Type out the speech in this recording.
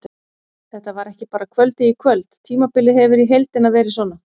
Þetta var ekki bara kvöldið í kvöld, tímabilið hefur í heildina verið svona.